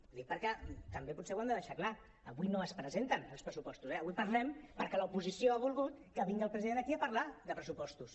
ho dic perquè també potser ho hem de deixar clar avui no es presenten els pressupostos avui en parlem perquè l’oposició ha volgut que vingui el president aquí a parlar de pressupostos